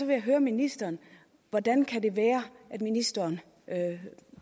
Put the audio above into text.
jeg høre ministeren hvordan kan det være at ministeren